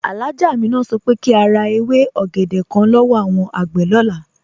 Alhájá Àmínà sọ pé kí a rá èwé ògédè kán lọ́wọ́ awọn agbé lọlá.